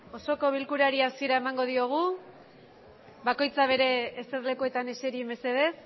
osoko bilkurari hasiera emango diogu bakoitza zuen eserlekuetan eseri mesedez